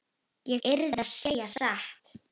Ég yrði að segja satt.